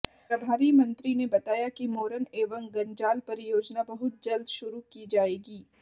प्रभारी मंत्री ने बताया कि मोरन एवं गंजाल परियोजना बहुत जल्द शुरू की जाएगी